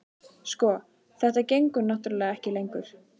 Sko. þetta gengur náttúrlega ekki lengur.